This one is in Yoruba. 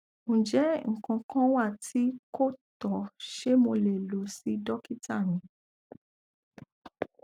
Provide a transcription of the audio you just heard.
njẹ nkan kan wa ti ko tọ ṣe mo le lọ si dokita mi